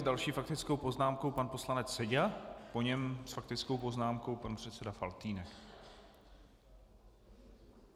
S další faktickou poznámkou pan poslanec Seďa, po něm s faktickou poznámkou pan předseda Faltýnek.